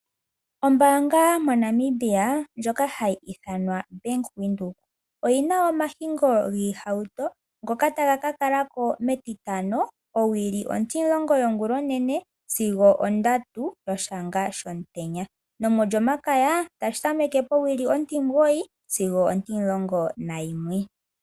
Ombaanga moNamibia ndjoka hayi ithanwa Bank Windhoek oyina omahingo giihauto ngoka taga ka kalako metitano owili 10:00 a.m sigo 15:00 p.m, nomo djomakaya tashi tameke powili 9-11.